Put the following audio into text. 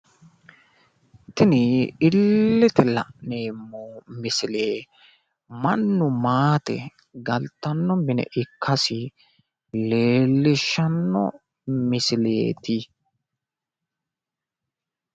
tini illete la'neemmo misile mannu maate galtanno mine ikkasi leellishshanno misileeti.